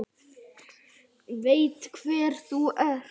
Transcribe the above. Veit hver þú ert.